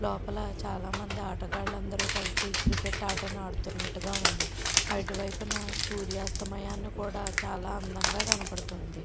లోపల చాలా మంది ఆటగాళ్లు అందరూ కలిసి క్రికెట్ ఆటను ఆడుతున్నట్టుగా ఉంది అటువైపున సూర్యాస్తమయాన్ని కూడా చాలా అందంగా కనపడుతుంది.